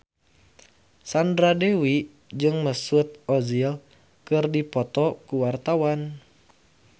Sandra Dewi jeung Mesut Ozil keur dipoto ku wartawan